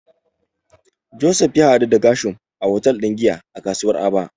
Joseph ya daɗu da Gershom a hotel din giya a kasuwar Aba.